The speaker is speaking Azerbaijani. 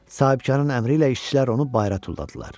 Sahibkarın əmri ilə işçilər onu bayıra tulladılar.